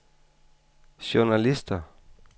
journalister